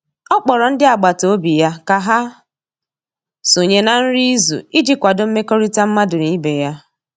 ọ kpọrọ ndi agbata obi ya ka ha sonye na nri izu iji kwado mmekorita madu n'ibe ya